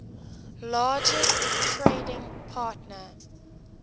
largest trading partner